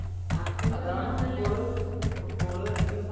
പിന്നെ മാത്രമല്ല